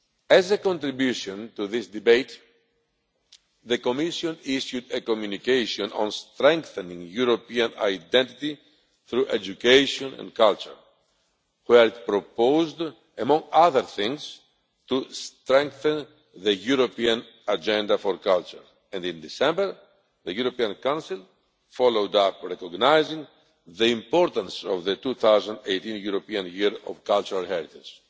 As a contribution to this debate, the Commission issued a Communication on strengthening European identity through education and culture, which proposed, among other things, to strengthen the European agenda for culture. In December, the European Council followed up, recognising the importance of the 2018 European Year of Cultural Heritage.